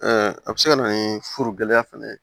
a bɛ se ka na ni furu gɛlɛya fana ye